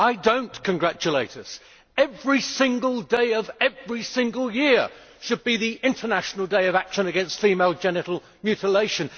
I do not congratulate us, however. Every single day of every single year should be an international day of action against female genital mutilation.